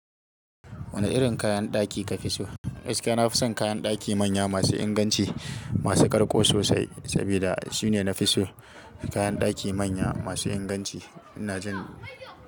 Wane irin kayan ɗaki kafi so? Gaskiya nafison kayan ɗaki manya masu inganci, masu ƙarƙo sosai saboda sune nafiso. Kayan ɗaki manya masu inganci ina jin.